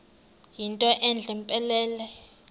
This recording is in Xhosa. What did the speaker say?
yinto entle mpelele